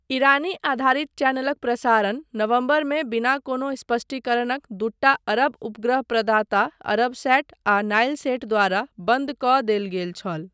ईरानी आधारित चैनलक प्रसारण नवम्बरमे बिना कोनो स्पष्टीकरणक दूटा अरब उपग्रह प्रदाता अरबसैट आ नाइलसैट द्वारा बन्द कऽ देल गेल छल।